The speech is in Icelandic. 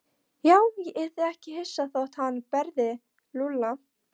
Já, ég yrði ekki hissa þótt hann berði Lúlla.